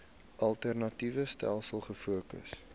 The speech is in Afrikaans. alternatiewe stelsels gefokus